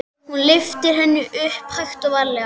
Hún lyftir henni upp, hægt og varlega.